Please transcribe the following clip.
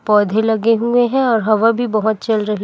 पौधे लगे हुए हैं और हवा भी बहोत चल रही--